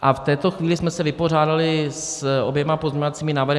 A v této chvíli jsme se vypořádali s oběma pozměňovacími návrhy.